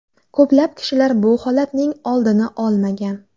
Ko‘plab kishilar bu holatning oldini olmagan.